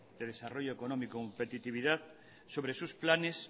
de desarrollo económico y competitividad sobre sus planes